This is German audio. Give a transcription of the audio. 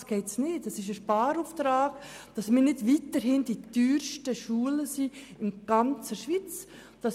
Es handelt sich vielmehr um einen Sparauftrag, damit wir nicht weiterhin die teuersten Schulen in der ganzen Schweiz führen.